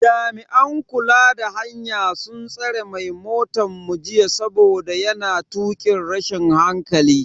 Jami'an kula da hanya sun tsare mai motan mu jita saboda yana tukin rashin hankali.